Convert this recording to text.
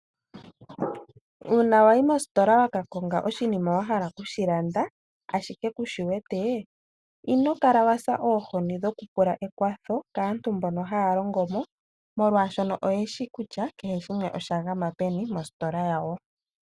Uuna wayi mositola waka konga oshiima wahala okushilanda ashike kushiwete inokala wasa oohoni dhoku pula ekwatho kaantu mbono haa longo mo, molwaashono ayeshi kutya oshagama peni mostola yawo.